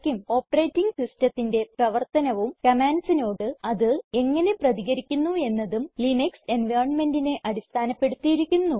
operating സിസ്റ്റത്തിന്റെ പ്രവർത്തനവും commandsനോട് അത് എങ്ങനെ പ്രതികരിക്കുന്നു എന്നതും ലിനക്സ് environmentനെ അടിസ്ഥാനപ്പെടുത്തിയിരിക്കുന്നു